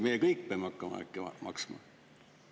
Meie kõik peame hakkama äkki maksma?